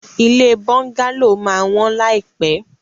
Ilé bọ́ńgálò máa wọ́n láìpẹ́.